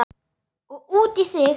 Og út í þig.